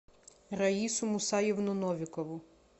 раису мусаевну новикову